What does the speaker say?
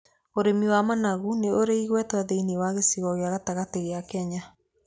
Ũrĩmi wa managu nĩ ũri igweta thĩiniĩ wa gĩcigo gĩa gatagatĩ ga Kenya.